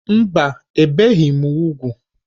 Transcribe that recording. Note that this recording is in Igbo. Mba, ebìghị m úgwù.